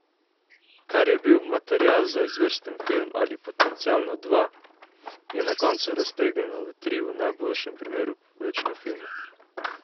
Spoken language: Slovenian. Kar je bil material za izvrsten film ali potencialno dva, je na koncu raztegnjeno v tri v najboljšem primeru povprečne filme.